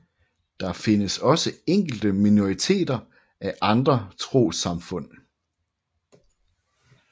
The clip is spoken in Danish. Der findes også enkelte minoriteter af andre trossamfund